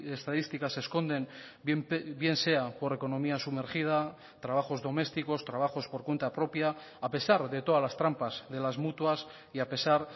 estadísticas esconden bien sea por economía sumergida trabajos domésticos trabajos por cuenta propia a pesar de todas las trampas de las mutuas y a pesar